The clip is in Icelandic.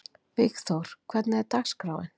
Vígþór, hvernig er dagskráin?